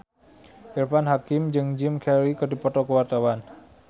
Irfan Hakim jeung Jim Carey keur dipoto ku wartawan